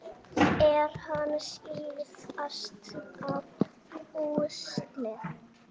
Er hann síðasta púslið?